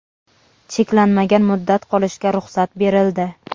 cheklanmagan muddat qolishga ruxsat berildi.